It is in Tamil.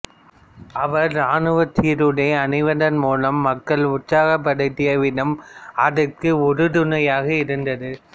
அவர் இராணுவச் சீருடை அணிவதன் மூலம் மக்களை உற்சாகப்படுத்திய விதம் அதற்கு உறுதுணையாயிருந்தது